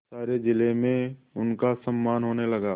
सारे जिले में उनका सम्मान होने लगा